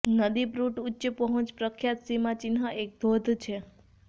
નદી પ્રુટ ઉચ્ચ પહોંચ પ્રખ્યાત સીમાચિહ્ન એક ધોધ છે